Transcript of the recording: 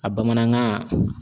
A bamanankan